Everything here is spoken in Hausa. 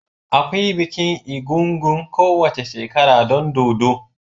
Akwai bikin egúngún kowace shekara don dodo.